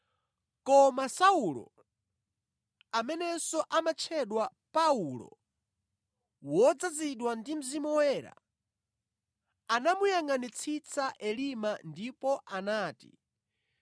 Koma Saulo, amenenso amatchedwa Paulo, wodzazidwa ndi Mzimu Woyera anamuyangʼanitsitsa Elima ndipo anati,